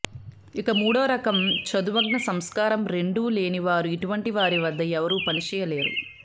ఇక మూడో రకం చదువ్ఞ సంస్కారం రెండూ లేని వారు ఇటువంటి వారి వద్ద ఎవరూ పని చెయ్యలేరు